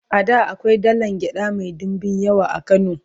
a da akwai dalan gyaɗa Mai ɗinbin yawa a kano